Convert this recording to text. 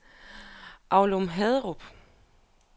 Aulum-Haderup